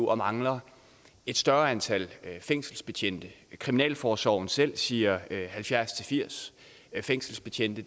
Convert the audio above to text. og mangler et større antal fængselsbetjente kriminalforsorgen selv siger halvfjerds til firs fængselsbetjente